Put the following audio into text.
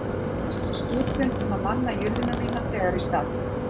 Ég gaf skipun um að manna julluna mína þegar í stað